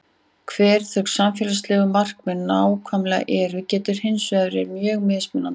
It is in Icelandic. Hver þau samfélagslegu markmið nákvæmlega eru getur hins vegar verið mjög mismunandi.